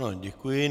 Ano, děkuji.